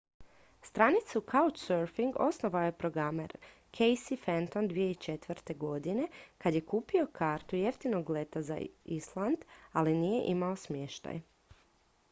stranicu couchsurfing osnovao je programer casey fenton 2004. godine kad je kupio kartu jeftinog leta za island ali nije imao smještaj